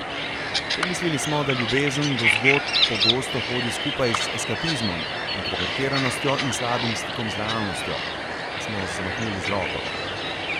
Pomislili smo, da ljubezen do zgodb pogosto hodi skupaj z eskapizmom, introvertiranostjo in slabim stikom z realnostjo, a smo zamahnili z roko.